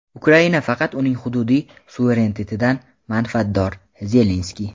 Ukraina faqat uning hududiy suverenitetidan manfaatdor – Zelenskiy.